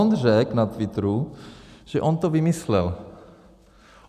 On řekl na Twitteru, že on to vymyslel.